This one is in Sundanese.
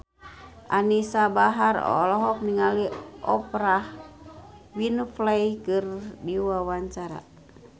Anisa Bahar olohok ningali Oprah Winfrey keur diwawancara